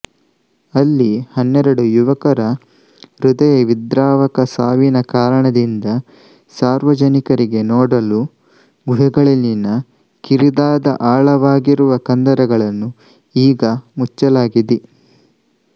ಅಲ್ಲಿ ಹನ್ನೆರಡು ಯುವಕರ ಹೃದಯವಿದ್ರಾವಕ ಸಾವಿನ ಕಾರಣದಿಂದ ಸಾರ್ವಜನಿಕರಿಗೆ ನೋಡಲು ಗುಹೆಗಳಲ್ಲಿನ ಕಿರಿದಾದ ಆಳವಾಗಿರುವ ಕಂದರಗಳನ್ನು ಈಗ ಮುಚ್ಚಲಾಗಿದೆ